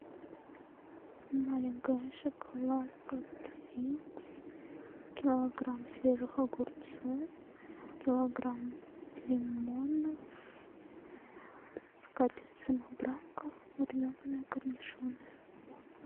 маленькая шоколадка твикс килограмм свежих огурцов килограмм лимонов скатерть самобранка маринованные корнишоны